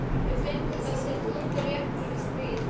Við fengum þessar túpur rétt fyrir stríð.